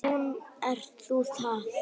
Nú ert það þú.